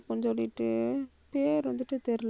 சொல்லிட்டு பேர் வந்துட்டு தெரியல.